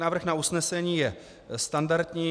Návrh na usnesení je standardní.